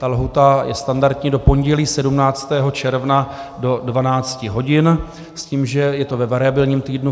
Ta lhůta je standardní do pondělí 17. června do 12 hodin s tím, že je to ve variabilním týdnu.